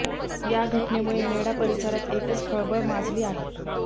या घटनेमुळे मेढा परिसरात एकच खळबळ माजली आहे